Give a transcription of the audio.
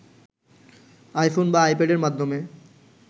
iPhone বা আইপ্যাডের মাধ্যমে